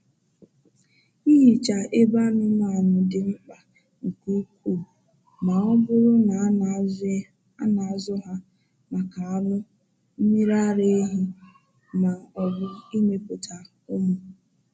Ịhicha ebe anụmanụ dị mkpa nke ukwuu ma ọ bụrụ na a na-azụ ha maka anụ, mmiri ara ehi, ma ọ bụ imepụta ụmụ